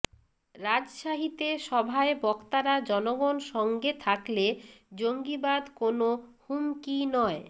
রাজশাহীতে সভায় বক্তারা জনগণ সঙ্গে থাকলে জঙ্গিবাদ কোনো হুমকি নয়